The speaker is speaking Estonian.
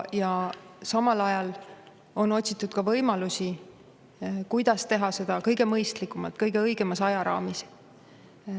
Ja samal ajal on otsitud ka võimalusi, kuidas teha seda kõige mõistlikumalt, kõige õigemas ajaraamis.